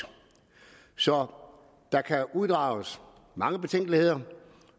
så der kan uddrages mange betænkeligheder